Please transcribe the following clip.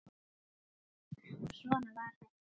Og svona var þetta.